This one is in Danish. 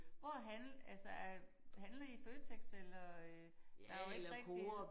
Hvor handler altså er handler I i Føtex eller øh der jo ikke rigtig